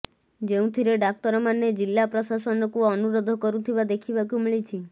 ଯେଉଁଥିରେ ଡାକ୍ତରମାନେ ଜିଲ୍ଲା ପ୍ରଶାସନକୁ ଅନୁରୋଧ କରୁଥିବା ଦେଖିବାକୁ ମିଳିଛି